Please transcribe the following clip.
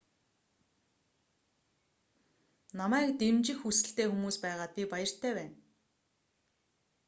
намайг дэмжих хүсэлтэй хүмүүс байгаад би баяртай байна